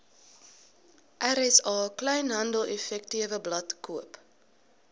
rsa kleinhandeleffektewebblad koop